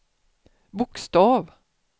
bokstav